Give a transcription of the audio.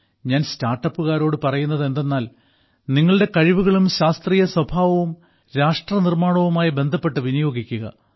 ഞാൻ സ്റ്റാർട്ടപ്പുകാരോട് പറയുന്നത് എന്തെന്നാൽ നിങ്ങളുടെ കഴിവുകളും ശാസ്ത്രീയ സ്വഭാവവും രാഷ്ട്രനിർമ്മാണവുമായി ബന്ധപ്പെട്ട് വിനിയോഗിക്കുക